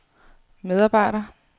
medarbejder